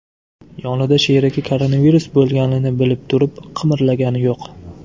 Yonida sherigi koronavirus bo‘lganini bilib turib, qimirlagani yo‘q.